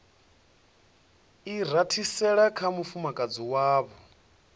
i rathisela kha mufumakadzi wavho